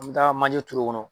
An mɛ taa manje turu o kɔnɔ.